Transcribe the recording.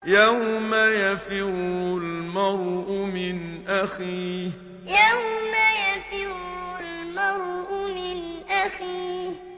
يَوْمَ يَفِرُّ الْمَرْءُ مِنْ أَخِيهِ يَوْمَ يَفِرُّ الْمَرْءُ مِنْ أَخِيهِ